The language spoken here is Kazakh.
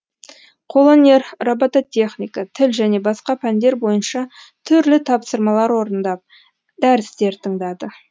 қолөнер робототехника тіл және басқа пәндер бойынша түрлі тапсырмалар орындап дәрістер тыңдады